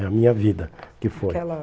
É a minha vida que foi. Aquela